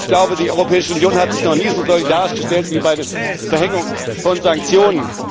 Ich glaube, die Europäische Union hat sich noch nie so solidarisch gestellt wie bei der Verhängung von Sanktionen.